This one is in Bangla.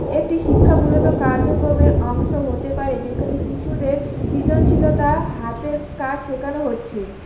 একটি শিক্ষামূলত কার্যক্রমের অংশ হতে পারে যেখানে শিশুদের সৃজনশীলতা হাতের কাজ শেখানো হচ্ছে।